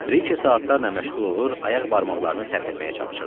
Brike saatlarla məşğul olur, ayaq barmaqlarını tərpətməyə çalışırdı.